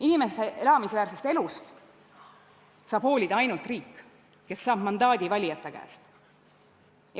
Inimeste elamisväärsest elust saab hoolida ainult riik, kes saab mandaadi valijate käest.